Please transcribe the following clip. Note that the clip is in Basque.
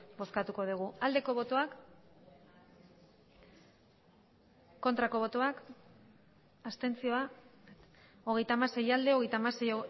bozkatuko dugu aldeko botoak aurkako botoak abstentzioa hogeita hamasei bai hogeita hamasei